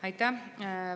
Aitäh!